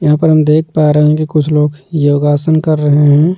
यहां पर हम देख पा रहे हैं कि कुछ लोग योगासन कर रहे हैं।